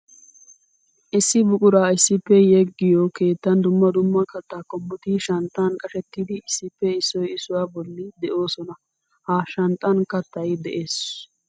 Issi buqura issippe yegiyo keettan dumma dumma katta qommotti shanxxan qashshettiddi issippe issoy issuwa bolla de'osonna. Ha shanxxan kattay de'ees.